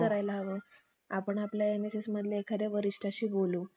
Hello